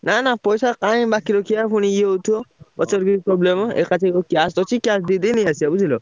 ନା ନା ପଇସା କାଇଁ ବାକି ରଖିଆ ପୁଣି ଇଏ ହଉଥିବ। ପଛରେ ବି problem ହବ ଏକାଥରେ cash ଅଛି cash ଦେଇ ଦେଇ ନେଇ ଆସିଆ ବୁଝିଲ।